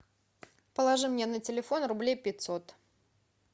положи мне на телефон рублей пятьсот